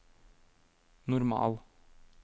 normal